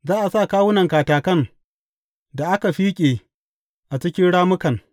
Za a sa kawunan katakan da aka fiƙe a cikin rammukan.